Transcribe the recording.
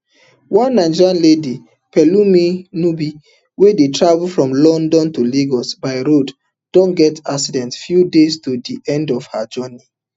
one nigerian lady pelumi nubi wey dey travel from london to lagos by road don get accident few days to di end of her journey